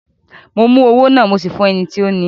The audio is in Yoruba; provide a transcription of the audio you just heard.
Mo mú owó náà, mo sì fún ẹni tí ó ni í.